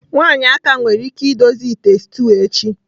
Nwanyị Aka nwere ike idozi ite stew echi.